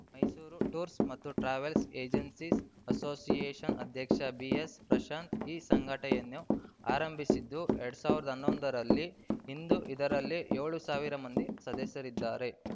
Mysuru tours ಮತ್ತು travels agencies ಅಸೋಸಿಯೇಷನ್‌ನ ಅಧ್ಯಕ್ಷ ಬಿಎಸ್‌ಪ್ರಶಾಂತ್‌ ಈ ಸಂಘಟನೆಯನ್ನು ಆರಂಭಿಸಿದ್ದು ಎರಡ್ ಸಾವಿರದ ಹನ್ನೊಂದರಲ್ಲಿ ಇಂದು ಇದರಲ್ಲಿ ಏಳು ಸಾವಿರ ಮಂದಿ ಸದಸ್ಯರಿದ್ದಾರೆ